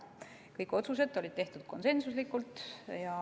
Kõik otsused tehti konsensuslikult.